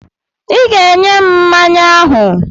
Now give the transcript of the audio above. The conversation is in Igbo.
I ga-enye m mmanya ahụ!